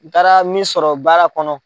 N taara min sɔrɔ baara kɔnɔ.